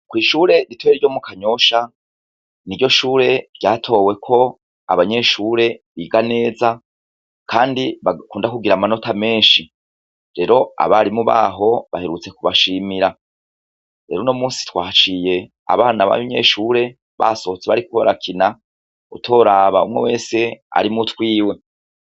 Kw'ishure ritoye ryo mu kanyosha ni ryo shure ryatoweko abanyeshure biga neza, kandi bagakunda kugira amanota menshi rero abari mu baho baherutse kubashimira rero no musi twaciye abana b'abinyeshure basohotse bariko barakina utorabamwo mwese arimu twiwe.